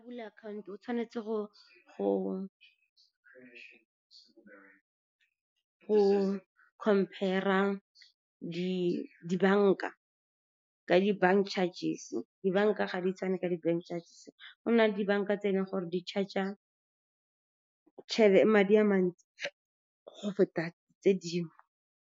Bula akhaonto, o tshwanetse go compare-a dibanka ka di bank charges. Dibanka ga di tshwane ka di-bank charges, go nna le dibanka tse e leng gore di charge-a madi a mantsi go feta tse dingwe.